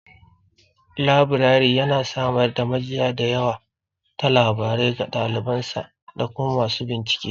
Labirari yana samar da majiya da yawa ta labarai ga ɗaliban sa da kuma masu bincike.